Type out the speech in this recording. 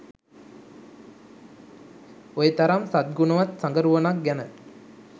ඔය තරම් සත්ගුණවත් සගරුවනක් ගැන